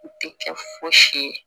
U tɛ kɛ fosi ye